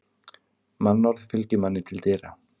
Mannorð fylgir manni til dyra.